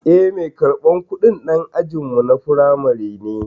Eh, mai karɓar kudin dan ajinmu na firamare ne.